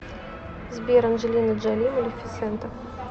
сбер анджелина джоли малефисента